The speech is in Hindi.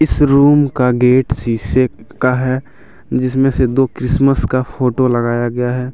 इस रूम का गेट शीशे का है जिसमें से दो क्रिसमस का फोटो लगाया गया है।